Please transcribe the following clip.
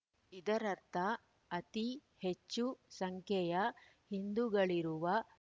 ಇದರರ್ಥ ಅತಿ ಹೆಚ್ಚು ಸಂಖ್ಯೆಯ ಹಿಂದುಗಳಿರುವ